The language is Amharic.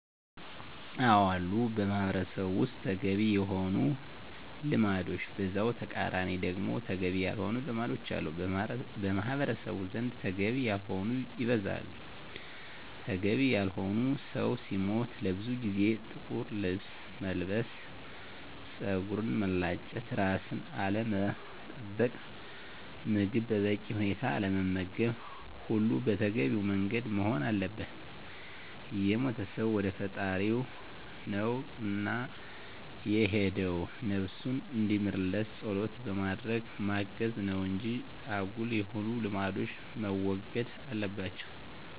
አዎ አሉ በማህበረሰቡ ውስጥ ተገቢ የሆኑ ልማዶች በዛው ተቃራኒ ደግሞ ተገቢ ያልሆኑ ልማዶች አሉ። በማህበረሰቡ ዘንድ ተገቢ ያልሆነው ይበዛል። ተገቢ ያልሆኑት ሰው ሲሞት ለብዙ ጊዜያት ጥቁር ለብስ መልበስ፣ ፀጉርን መላጨት፣ ራስን አለመጠበቅ፣ ምግብ በበቂ ሁኔታ አለመመገብ ሁሉም በተገቢው መንገድ መሆን አለበት። የሞተው ሰው ወደ ፈጣሪው ነው እና የሄደው ነብሱን እንዲምርለት ፀሎት በማድረግ ማገዝ ነው እንጂ አጉል የሆኑ ልማዶች መወገድ አለባቸው